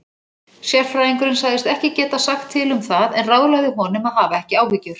Sérfræðingurinn sagðist ekki geta sagt til um það en ráðlagði honum að hafa ekki áhyggjur.